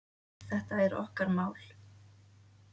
Þetta er okkar mál.